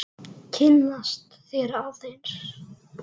Kynnast þér aðeins.